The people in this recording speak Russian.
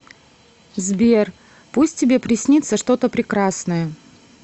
сбер пусть тебе приснится что то прекрасное